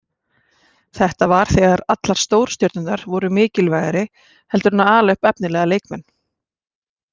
Þetta var þegar allar stórstjörnurnar voru mikilvægri heldur en að ala upp efnilega leikmenn.